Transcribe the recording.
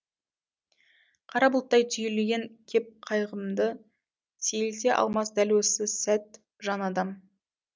қара бұлттай түйілген кеп қайғымды сейілте алмас дәл осы сәт жан адам